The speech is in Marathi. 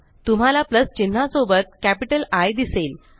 तुम्हाला प्लस चिन्हा सोबत कॅपिटल आय दिसेल